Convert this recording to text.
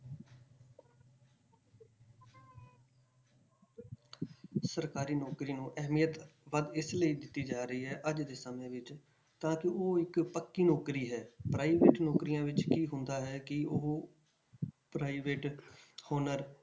ਸਰਕਾਰੀ ਨੌਕਰੀ ਨੂੰ ਅਹਿਮੀਅਤ ਵੱਧ ਇਸ ਲਈ ਦਿੱਤੀ ਜਾ ਰਹੀ ਹੈ ਅੱਜ ਦੇ ਸਮੇਂ ਵਿੱਚ ਤਾਂ ਕਿ ਉਹ ਇੱਕ ਪੱਕੀ ਨੌਕਰੀ ਹੈ private ਨੌਕਰੀਆਂ ਵਿੱਚ ਕੀ ਹੁੰਦਾ ਹੈ ਕਿ ਉਹ private owner